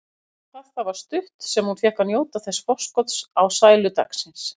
Hvað það var stutt sem hún fékk að njóta þessa forskots á sælu dagsins.